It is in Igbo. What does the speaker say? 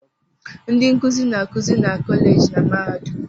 Ndị nkuzi na-akụzi na kọleji na mahadum.